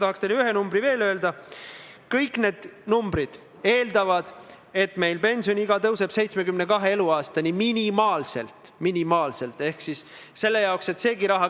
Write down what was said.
Aga kindlasti peame nendes punktides edasi liikuma, sest tegelikult on ju Euroopa Liidus vastuvõetud direktiivid vastu võetud ikkagi mõtestatult, et kellelgi oleks parem elada, lihtsam liikuda.